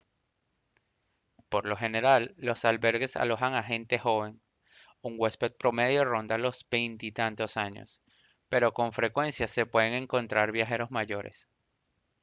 por lo general los albergues alojan a gente joven un huésped promedio ronda los veintitantos años pero con frecuencia se pueden encontrar viajeros mayores